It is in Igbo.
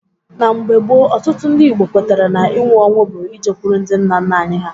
Na mgbe gboo, Ọtụtụ ndị Igbo kwetara na ịnwụ ọnwụ bụ ijekwuru ndị nna nna anyị ha